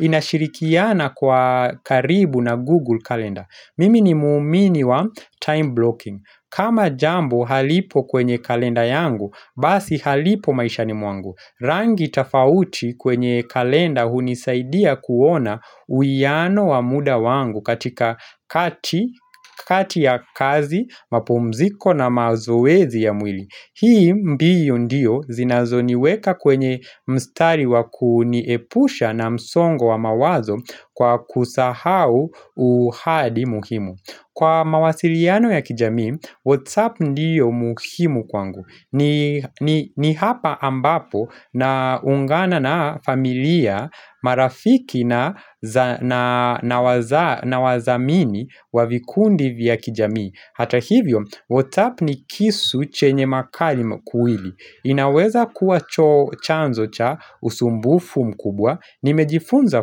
Inashirikiana kwa karibu na google kalenda. Mimi ni muumini wa time blocking. Kama jambo halipo kwenye kalenda yangu, basi halipo maishani mwangu. Rangi tafauti kwenye kalenda hunisaidia kuona uiyano wa muda wangu katika kati ya kazi, mapumziko na mazoezi ya mwili. Hii mbio ndio zinazoniweka kwenye mstari wa kuniepusha na msongo wa mawazo kwa kusahau uhadi muhimu. Kwa mawasiliano ya kijamii, WhatsApp ndio muhimu kwangu. Ni hapa ambapo naungana na familia marafiki na na wazamini wa vikundi vya kijamii. Hata hivyo WhatsApp ni kisu chenye makali makuili. Inaweza kuwa cho chanzo cha usumbufu mkubwa. Nimejifunza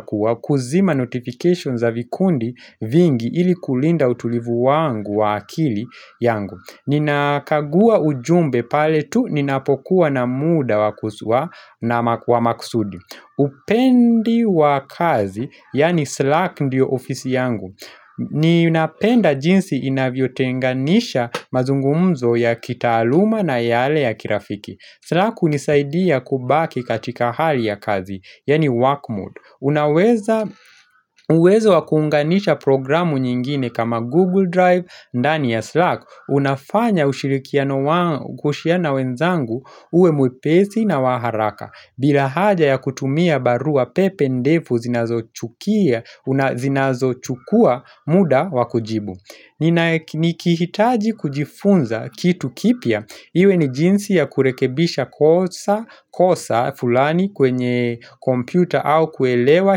kuwa kuzima notification za vikundi vingi ili kulinda utulivu wangu wa akili yangu Ninakagua ujumbe pale tu ninapokuwa na muda wa maksudi. Upendi wa kazi yaani Slack ndio ofisi yangu Ninapenda jinsi inavyotenganisha mazungumzo ya kitaaluma na yale ya kirafiki. Slack hunisaidia kubaki katika hali ya kazi, yaani work mode. Unaweza uwezo wa kuunganisha programu nyingine kama Google Drive, ndani ya Slack Unafanya ushirikiano wa ku share na wenzangu uwe mwepesi na wa haraka. Bila haja ya kutumia barua pepe ndefu zinazochukia, zinazochukua muda wa kujibu nikihitaji kujifunza kitu kipya iwe ni jinsi ya kurekebisha kosa fulani kwenye kompyuta au kuelewa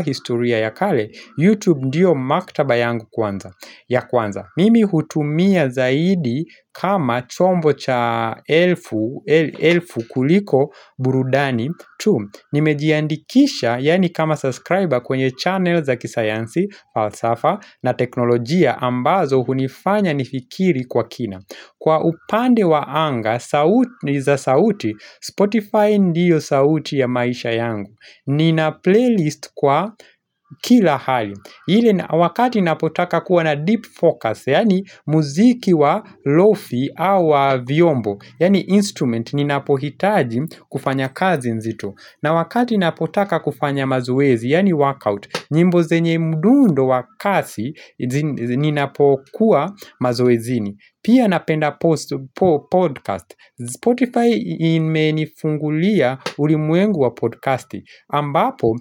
historia ya kale youtube ndio maktaba yangu kwanza ya kwanza mimi hutumia zaidi kama chombo cha elfu elfu kuliko burudani tu nimejiandikisha yaani kama subscriber kwenye channel za kisayansi, falsafa na teknolojia ambazo hunifanya nifikiri kwa kina Kwa upande wa anga za sauti Spotify ndio sauti ya maisha yangu Nina playlist kwa kila hali hile wakati napotaka kuwa na deep focus Yaani muziki wa lofi au wa vyombo Yaani instrument ninapohitaji kufanya kazi nzito na wakati napotaka kufanya mazoezi yaani workout nyimbo zenye mdundo wa kasi ninapokuwa mazoezini. Pia napenda podcast. Spotify imenifungulia ulimwengu wa podcasti. Ambapo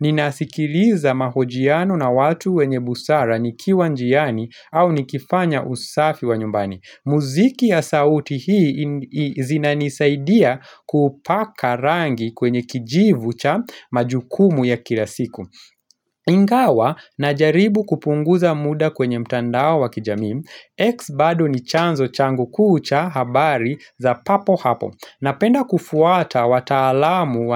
ninasikiliza mahojiano na watu wenye busara nikiwa njiani au nikifanya usafi wa nyumbani. Muziki ya sauti hii zinanisaidia kupaka rangi kwenye kijivu cha majukumu ya kila siku. Ingawa najaribu kupunguza muda kwenye mtandao wa kijamii X bado ni chanzo changu kuu cha habari za papo hapo Napenda kufuata wataalamu.